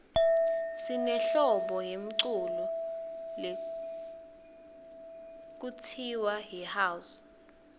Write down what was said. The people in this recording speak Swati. sinehlobo yemculo lekutsiwa yihouse